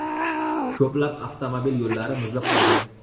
Ko‘plab avtomobil yo‘llari muzlab qolgan.